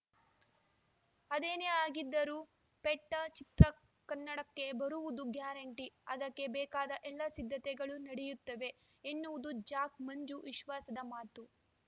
ಆದೇನೇ ಆಗಿದ್ದರೂ ಪೆಟ್ಟಾ ಚಿತ್ರ ಕನ್ನಡಕ್ಕೆ ಬರುವುದು ಗ್ಯಾರಂಟಿ ಅದಕ್ಕೆ ಬೇಕಾದ ಎಲ್ಲಾ ಸಿದ್ಧತೆಗಳು ನಡೆಯುತ್ತವೆ ಎನ್ನುವುದು ಜಾಕ್‌ ಮಂಜು ವಿಶ್ವಾಸದ ಮಾತು